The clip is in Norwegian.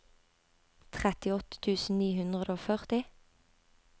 trettiåtte tusen ni hundre og førti